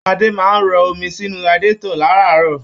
Ade máa n rọ̀ omi sinú radiatọ̀ láràárọ̀.